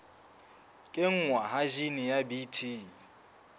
kenngwa ha jine ya bt